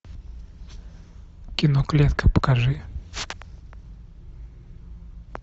кино клетка покажи